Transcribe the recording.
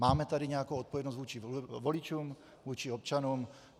Máme tady nějakou odpovědnost vůči voličům, vůči občanům.